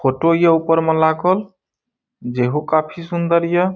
photo ये ऊपर मे लागल जेहो काफी सुन्दर ये --